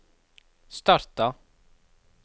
starta